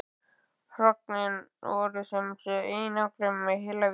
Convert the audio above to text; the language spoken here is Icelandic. Hrognin voru sem sé í einangrun í heila viku.